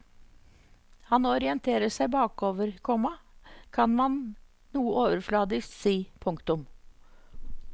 Han orienterer seg bakover, komma kan man noe overfladisk si. punktum